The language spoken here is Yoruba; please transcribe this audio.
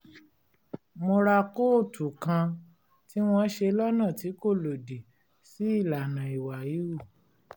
mo ra kóòtù kan tí wọ́n ṣe lọ́nà tí kò lòdì sí ìlànà ìwà híhù